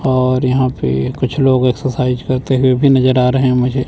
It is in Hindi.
और यहां पे कुछ लोग एक्सरसाइज करते हुए भी नजर आ रहे हैं मुझे--